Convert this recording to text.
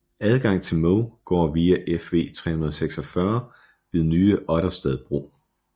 Adgang til Mo går via Fv 346 ved Nye Otterstad bro